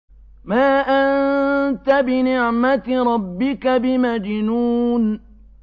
مَا أَنتَ بِنِعْمَةِ رَبِّكَ بِمَجْنُونٍ